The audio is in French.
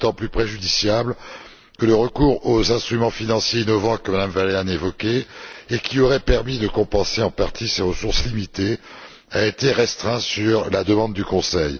C'est d'autant plus préjudiciable que le recours aux instruments financiers innovants, que Mme Vălean a évoqué et qui aurait permis de compenser en partie ces ressources limitées, a été restreint sur la demande du Conseil.